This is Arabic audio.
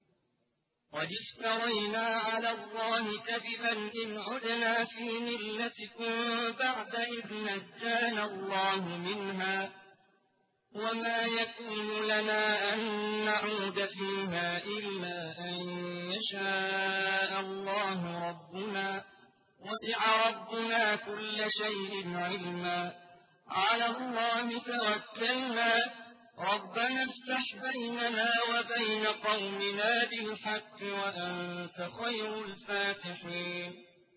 قَدِ افْتَرَيْنَا عَلَى اللَّهِ كَذِبًا إِنْ عُدْنَا فِي مِلَّتِكُم بَعْدَ إِذْ نَجَّانَا اللَّهُ مِنْهَا ۚ وَمَا يَكُونُ لَنَا أَن نَّعُودَ فِيهَا إِلَّا أَن يَشَاءَ اللَّهُ رَبُّنَا ۚ وَسِعَ رَبُّنَا كُلَّ شَيْءٍ عِلْمًا ۚ عَلَى اللَّهِ تَوَكَّلْنَا ۚ رَبَّنَا افْتَحْ بَيْنَنَا وَبَيْنَ قَوْمِنَا بِالْحَقِّ وَأَنتَ خَيْرُ الْفَاتِحِينَ